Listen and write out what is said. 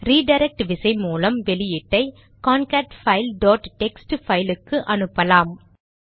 redirect விசை மூலம் வெளியீட்டை கான்கேட்பைல் டாட் டெக்ஸ்ட் பைல் க்கு அனுப்பலாம்